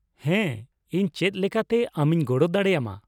ᱦᱮᱸ, ᱤᱧ ᱪᱮᱫ ᱞᱮᱠᱟᱛᱮ ᱟᱢᱤᱧ ᱜᱚᱲᱚ ᱫᱟᱲᱮ ᱟᱢᱟ ?